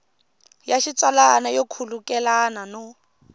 ya xitsalwana yo khulukelana no